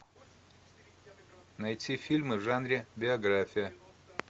найти фильмы в жанре биография